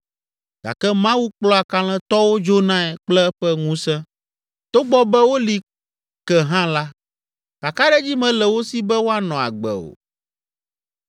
Gake Mawu kplɔa kalẽtɔwo dzonae kple eƒe ŋusẽ. Togbɔ be woli ke hã la, kakaɖedzi mele wo si be woanɔ agbe o.